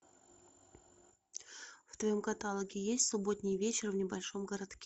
в твоем каталоге есть субботний вечер в небольшом городке